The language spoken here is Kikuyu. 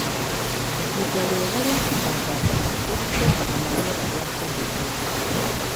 Ihinda rĩega rĩa kũhanda ngano rĩringanaga na rĩera rĩa kũndũ kũu.